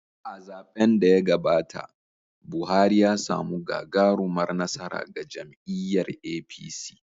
A zaɓen da ya gabata, Buhari ya samu gagarumar nasara ga jam’iyyar APC.